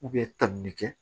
tan ni kɛ